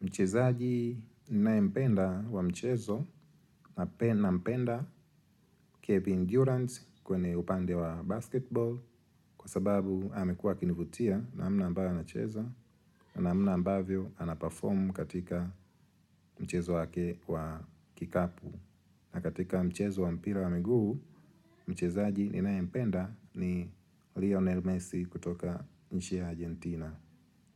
Mchezaji ninaye mpenda wa mchezo na pia nampenda kevin durant kwenye upande wa basketball kwa sababu amekuwa akinivutia namna ambayo anacheza namna ambavyo anaperform katika mchezo wake wa kikapu. Na katika mchezo wa mpira wa miguu, mchezaji ninaye mpenda ni Lionel Messi kutoka nchi ya Argentina.